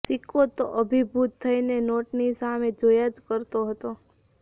સિક્કો તો અભિભૂત થઇને નોટની સામે જોયા જ કરતો હતો